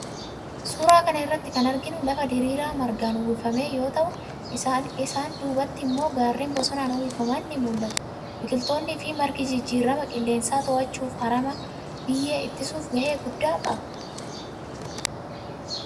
Suuraa kana irratti kan arginu lafa diriiraa margaan uwwifame yoo ta'u isaan dubatti immoo gaarreen bosonaan uwwifaman ni mul'atu. Biqiltoonni fi margi jijjirama qilleensaa to'achuf, harama biyyee ittisuuf gahee guddaa qabu.